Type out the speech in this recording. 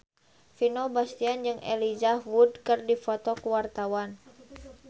Vino Bastian jeung Elijah Wood keur dipoto ku wartawan